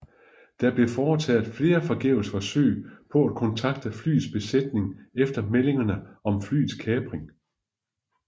Der blev foretaget flere forgæves forsøg på at kontakte flyets besætning efter meldingerne om flyets kapring